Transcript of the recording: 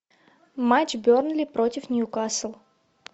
матч бернли против ньюкасл